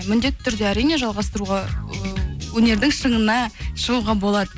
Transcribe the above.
міндетті түрде әрине жалғастыруға і өнердің шыңына шығуға болады